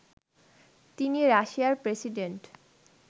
তিনি রাশিয়ার প্রেসিডেন্ট